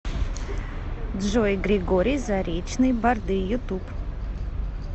джой григорий заречный барды ютуб